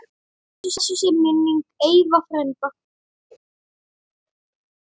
Blessuð sé minning Eyva frænda.